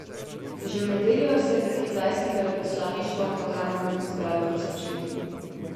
Že v nedeljo se je pred kitajskim veleposlaništvom v Hanoju zbralo tisoč ljudi.